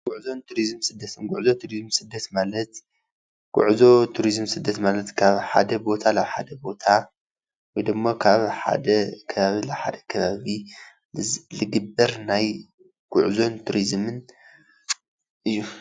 ጉዕዞን ቱሪዝም ስደት : ጉዕዞ ቱሪዝም ስደት ማለት ጉዕዞ ቱሪዝም ስደት ማለት ካብ ሓደ ቦታ ናብ ሓደ ቦታ ወይ ድማ ካብ ሓደ ከባቢ ናብ ሓደ ከባቢ ዝግበር ናይ ጉዕዞን ቱሪዝምን እዩ።